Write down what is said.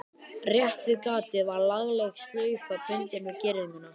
Rétt við gatið var lagleg slaufa bundin við girðinguna.